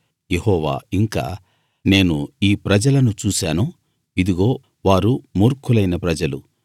యెహోవా ఇంకా నేను ఈ ప్రజలను చూశాను ఇదిగో వారు మూర్ఖులైన ప్రజలు